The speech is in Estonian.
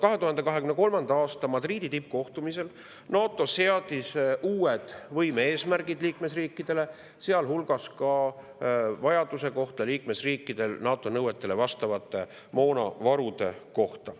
2023. aasta Madridi tippkohtumisel seadis NATO uued võime-eesmärgid liikmesriikidele, sealhulgas NATO nõuetele vastava moonavaru kohta.